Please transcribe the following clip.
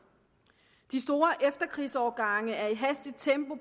de store efterkrigsårgange er i hastigt tempo